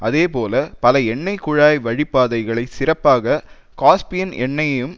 அதேபோல பல எண்ணெய் குழாய் வழி பாதைகளை சிறப்பாக காஸ்பியன் எண்ணெயையும்